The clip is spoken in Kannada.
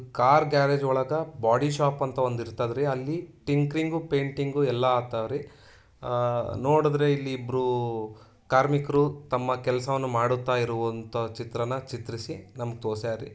ಕಾರ್ ಗ್ಯಾರೇಜ್ ಒಳಗ್ ಬಾಡಿ ಶಾಪ್ ಅಂತ ಒಂದು ಇರುತ್ತದೆ ರೀ ಅಲ್ಲಿ ಟಿಂಕರಿಂಗ್ ಪೈಂಟಿಂಗ್ಗೂ ಎಲ್ಲಾ ಆಗ್ತಾವ್ ರೀ. ಅಹ್ ನೋಡಿದ್ರೆ ಇಲ್ಲಿ ಇಬ್ರು ಕಾರ್ಮಿಕರು ತಮ್ಮ ಕೆಲಸವನ್ನು ಮಾಡುತ್ತಾ ಇರುವಂತಹ ಚಿತ್ರಣ ಚಿತ್ರಿಸಿ ನಮ್ಗ ತೋರಿಸ್ಯಾರ ರೀ.